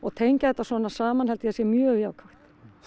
tengja þetta svona saman held ég að sé mjög jákvætt